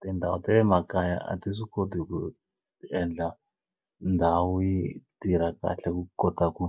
Tindhawu ta le makaya a ti swi koti ku endla ndhawu yi tirha kahle ku kota ku